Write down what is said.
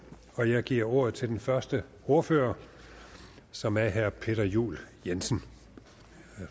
og jeg giver ordet til den første ordfører som er herre peter juel jensen